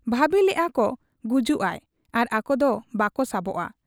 ᱵᱷᱟᱹᱵᱤ ᱞᱮᱜ ᱟ ᱠᱚ ᱜᱩᱡᱩᱜ ᱟᱭ ᱟᱨ ᱟᱠᱚ ᱫᱚ ᱵᱟᱠᱚ ᱥᱟᱵᱚᱜ ᱟ ᱾